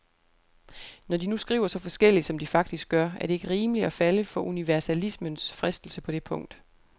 Når de nu skriver så forskelligt som de faktisk gør, er det ikke rimeligt at falde for universalismens fristelse på det punkt.